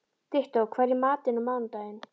Dittó, hvað er í matinn á mánudaginn?